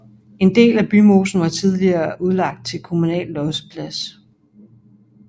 En del af Bymosen var tidligere udlagt til kommunal losseplads